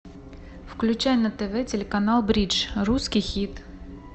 включай на тв телеканал бридж русский хит